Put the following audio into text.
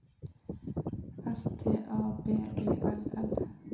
S T A B E L L